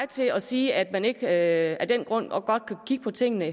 til at sige at man ikke af den grund godt kan kigge på tingene